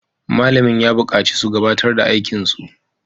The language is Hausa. Malamin ya bukaci su gabatar da aikin su!